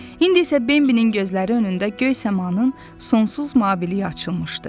İndi isə Bimbinin gözləri önündə göy səmanın sonsuz mabiliyi açılmışdı.